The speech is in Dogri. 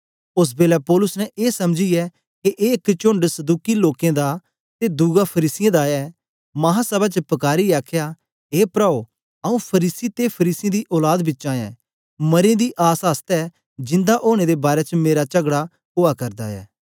ओस बेलै पौलुस ने ए समझीयै के एक चोंड सदूकी लोकें दा ते दुआ फरीसियें दा ऐ महासभा च पकारीयै आखया ए प्राओ आंऊँ फरीसी ते फरीसियें दी औलाद बिचा ऐं मरें दी आस आसतै जिंदा ओनें दे बारै च मेरा चगड़ा ओआ करदा ऐ